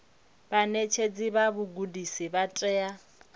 vhaṋetshedzi vha vhugudisi vha tea